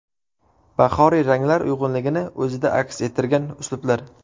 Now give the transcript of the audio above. Bahoriy ranglar uyg‘unligini o‘zida aks ettirgan uslublar.